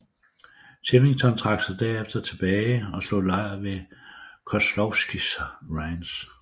Chivington trak sig derefter tilbage og slog lejr ved Kozlowskis Ranch